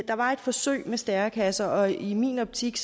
der var et forsøg med stærekasser og i min optik